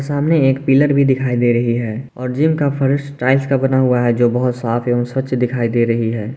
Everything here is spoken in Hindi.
सामने एक पिलर भी दिखाई दे रही है और जिम का फर्श टाइल्स का बना हुआ है जो बहुत साफ एवं स्वच्छ दिखाई दे रही है।